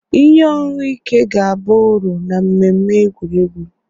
Ihe ọṅụṅụ ike ga-aba uru na mmemme egwuregwu